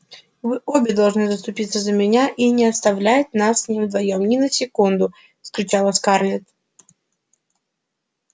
вы обе должны заступиться за меня и не оставлять нас с ним вдвоём ни на секунду вскричала скарлетт